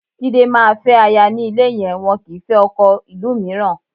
Jide, má fẹ́ aya ní ilé yẹn, wọn kì í fẹ́ ọkọ ìlú mìíràn